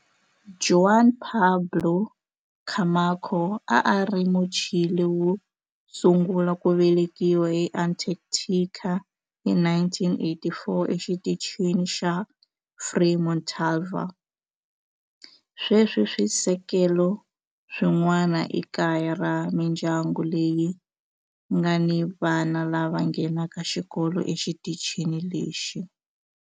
Juan Pablo Camacho a a ri Muchile wo sungula ku velekiwa eAntarctica hi 1984 eXitichini xa Frei Montalva. Sweswi swisekelo swin'wana i kaya ra mindyangu leyi nga ni vana lava nghenaka xikolo exitichini lexi.